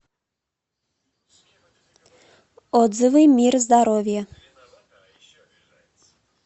отзывы мир здоровья